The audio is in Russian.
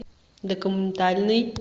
документальный